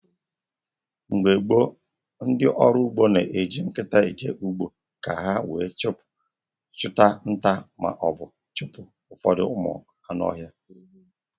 Mgbe gboo ehn, ndị ọrụ ugbo na eji nkịta eje ugbo, ka ha wee chụta nta maọbụ chụpụ ụfọdụ ụmụ ọhịa